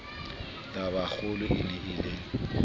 tabakgolo e ne e le